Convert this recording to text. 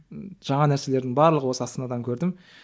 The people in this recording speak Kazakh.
жаңа нәрселердің барлығын осы астанадан көрдім